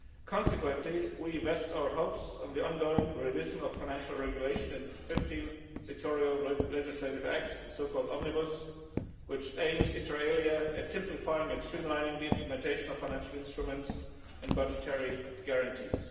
Consequently, we vest our hopes in the ongoing revision of the Financial Regulation and 15 sectoral legislative acts, the so called Omnibus', which aims inter alia at simplifying and streamlining the implementation of financial instruments and budgetary guarantees.